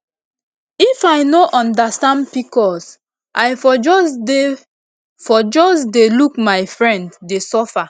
if i no understand pcos i for just dey for just dey look my friend dey suffer